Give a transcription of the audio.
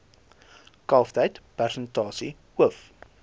kalftyd persentasie hoof